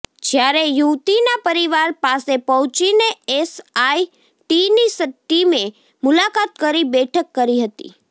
જ્યારે યુવતીના પરિવાર પાસે પહોંચીને એસઆઈટીની ટીમે મુલાકાત કરી બેઠક કરી હતી